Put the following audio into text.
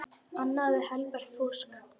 Annað er helbert fúsk.